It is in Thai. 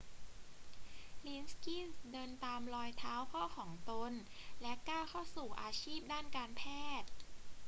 ลิกกินส์เดินตามรอยเท้าพ่อของตน และก้าวเข้าสู่อาชีพด้านการแพทย์